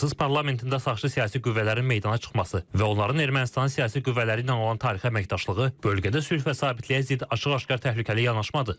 Fransız parlamentində sağçı siyasi qüvvələrin meydana çıxması və onların Ermənistanın siyasi qüvvələri ilə olan tarixi əməkdaşlığı bölgədə sülh və sabitliyə zid açıq-aşkar təhlükəli yanaşmadır.